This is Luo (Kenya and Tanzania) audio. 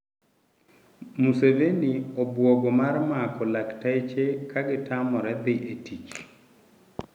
Museveni obugo mar mako lakteche ka gitamore thi tich.